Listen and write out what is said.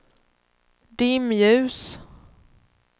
dimljus